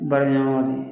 Baaraɲɔgɔnw de